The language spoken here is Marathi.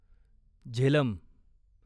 झेलम